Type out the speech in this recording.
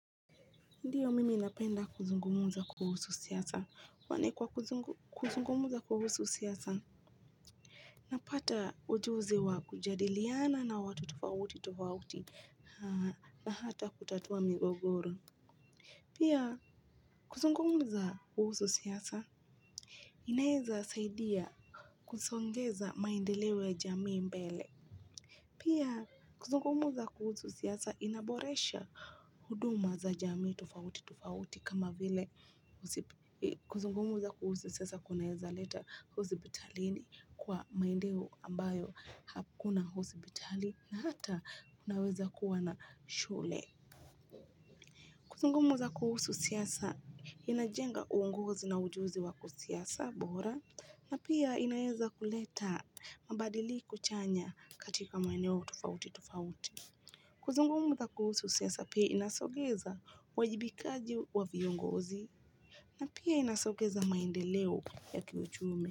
Ndiyo mimi napenda kuzungumuza kuhusu siasa. Kwani kwa kuzungu kuzungumza kuhusu siasa unapata ujuzi wa kujadiliana na watu tofauti tofauti na hata kutatua migogoro pia kuzungumza kuhusu siasa, inaeza saidia kusongeza maendeleo ya jamii mbele. Pia kuzungumuza kuhusu siasa, inaboresha huduma za jamii tofauti tofauti kama vile kuzungumuza kuhusu siasa kunaeza leta hosipitalini kwa maendeo ambayo hakuna hosipitali hata kunaweza kuwa na shule. Kuzungumuza kuhusu siasa inajenga uongozi na ujuzi wa ku siasa bora na pia inaeza kuleta mabadiliko chanya katika maeneo tofauti tofauti. Kuzungumtha kuhusu siasa pia inasogeza wajibikaji wa viongozi na pia inasogeza maende leo ya kiuchumi.